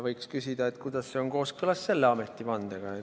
Võiks küsida, kuidas nende käitumine on kooskõlas ametivandega.